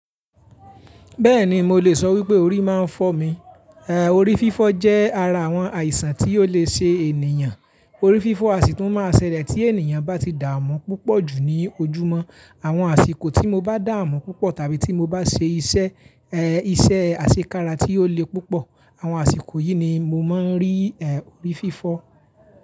Bẹ́ẹ̀ni mo lè sọ wípé orí máa ń fọ́ mi. Ehn, orí fífọ́ jẹ́ ara àwọn àìsàn tí ó lè ṣe ènìyàn. Orí fífọ́ a sì tún máa ṣẹlẹ̀ tí ènìyàn bá ti dààmú púpọ̀ jù ní ojúmọ́. Àwọn àsìkò tí mo bá dààmú púpọ̀ tàbí tí mo bá ṣe iṣẹ́, iṣẹ́ àṣekára tí ó le púpọ̀, àwọn àsìkò yìí ni mo máa ń rí, orí fífọ́.